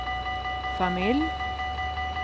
familj